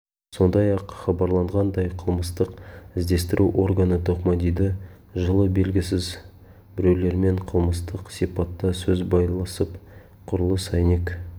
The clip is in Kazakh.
сондай-ақ хабарланғандай қылмыстық іздестіру органы тоқмадиді жылы белгісіз біреулермен қылмыстық сипатта сөз байласып құрылыс әйнек